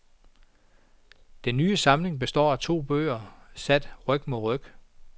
Den nye samling består af to bøger, sat ryg mod ryg.